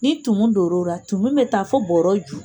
Ni donn'ora a bi taa fɔ bɔrɔ ju